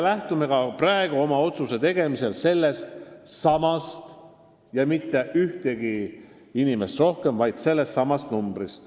Lähtume ka praegu oma otsuse tegemisel sellestsamast numbrist: me ei võta vastu mitte ühtegi inimest rohkem.